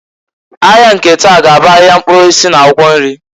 Ahịa nke taa g'abụ ahịa mkpụrụ osisi na akwụkwọ nri.